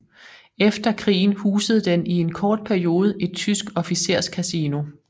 Efter krigen husede den i en kort periode et tysk officerskasino